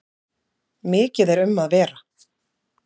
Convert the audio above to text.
Mikið er um að vera.